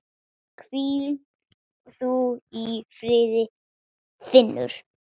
Hvíl þú í friði Finnur.